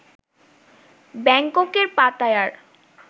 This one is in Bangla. ব্যাংককের পাতায়ার